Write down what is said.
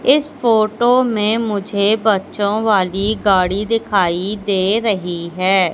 इस फोटो मे मुझे बच्चो वाली गाड़ी दिखाई दे रही है।